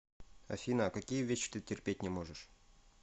афина а какие вещи ты терпеть не можешь